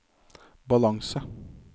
balanse